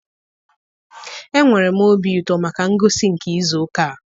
Enwere m obi ụtọ maka ngosi nke izu ụka a.